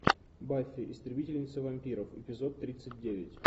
баффи истребительница вампиров эпизод тридцать девять